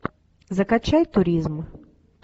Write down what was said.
закачай туризм